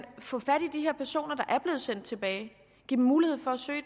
få fat i de her personer der er blevet sendt tilbage og give dem mulighed for at søge